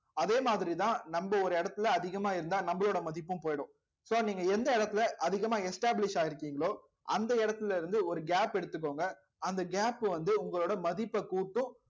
அதே மாதிரிதான் நம்ம ஒரு இடத்துல அதிகமா இருந்தா நம்மளோட மதிப்பும் போயிடும் so நீங்க எந்த இடத்துல அதிகமா establish ஆயிருக்கீங்களோ அந்த இடத்துல இருந்து ஒரு gap எடுத்துக்கோங்க அந்த gap வந்து உங்களோட மதிப்பைக் கூட்டும்